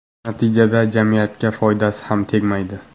Natijada jamiyatga foydasi ham tegmaydi.